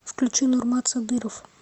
включи нурмат садыров